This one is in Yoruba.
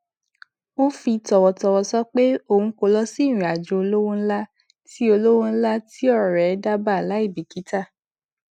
ó fi tọwọtọwọ sọ pé òun kò lọ sí ìrìn àjò olówo ńlá tí olówo ńlá tí ọrẹ dábàá láì bìkítà